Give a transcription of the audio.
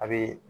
A bɛ